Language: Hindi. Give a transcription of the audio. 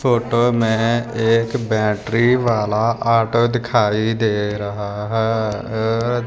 फोटो में एक बैटरी वाला ऑटो दिखाई दे रहा है।